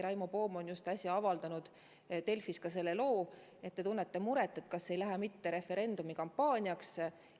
Raimo Poom avaldas just äsja Delfis loo selle kohta, et te tunnete muret, ega ei lähe mitte referendumi kampaaniaks?